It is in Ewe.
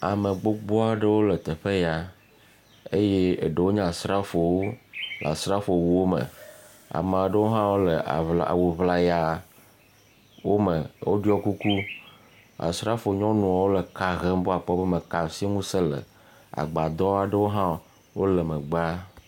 Ame gbogbo aɖe wole teƒe ya eye eɖe nye asrafowo wuwo me. Ame aɖewo hã le awu ŋla ya wo me. Wo ɖɔe kuk. Asrafo nyɔnuawo le eka hem be wɔkpɔ be me ka si ŋuse le. Agbadɔ aɖewo ha wole megba.